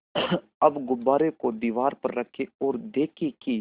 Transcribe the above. अब गुब्बारे को दीवार पर रखें ओर देखें कि